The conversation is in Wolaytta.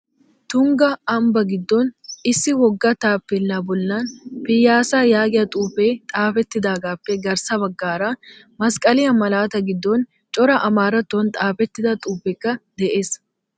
Tungga ambbaa giddon issi wogga taappeellaa bollan piyyaasaa yaagiya xuufee xaafettidaagaappe garssa baggaara masqqaliya malaataa giddon cora amaarattuwan xaafettida xuufeekka de'ees.